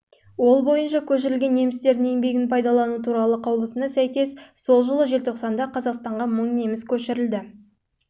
ол бойынша көшірілген немістердің еңбегін пайдалану туралы қаулысына сәйкес жылы желтоқсанда қазақстанға мың неміс көшірілді